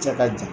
Cɛ ka jan